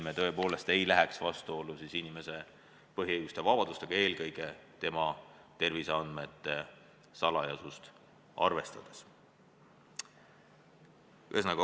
Me tõepoolest ei tohi minna vastuollu inimese põhiõiguste ja vabadustega, eelkõige tema terviseandmete salajasust arvestades.